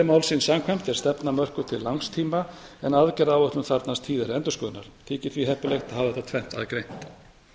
málsins samkvæmt er stefna mörkuð til langs tíma en aðgerðaáætlun þarfnast tíðari endurskoðunar þykir því heppilegt að hafa það tvennt aðgreint